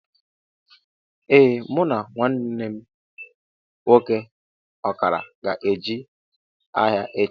Ee mụ na nwanne mụ nwoke ọkara ga-eje ahia echi